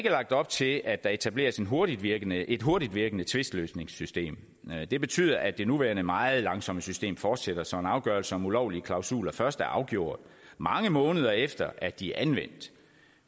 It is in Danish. lagt op til at der etableres et hurtigtvirkende et hurtigtvirkende tvistløsningssystem det betyder at det nuværende meget langsomme system fortsætter så en afgørelse om ulovlige klausuler først er afgjort mange måneder efter at de anvendt